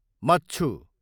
मच्छु